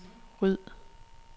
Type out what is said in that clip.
ryd